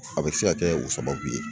A bɛ se ka kɛ o sababu ye